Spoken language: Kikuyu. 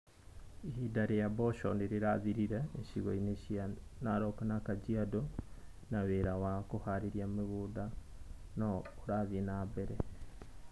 Ihinda rĩa mboco nĩrĩrathirire ĩcigo-inĩ nyingĩ cia Narok na Kajiado na wĩra wa kũhaarĩria mũgũnda no ũrathiĩ na mbere.